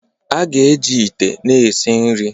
A ga-eji ite na-esi nri